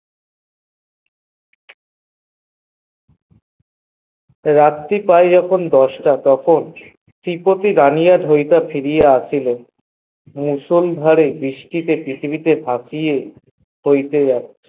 রাত্রি প্রায় যখন দশ টা তখন ত্রি পটি গাইবার ফিরিয়া আসছিল তারপর বৃষ্টি তে ভাসিয়ে যাচ্ছিল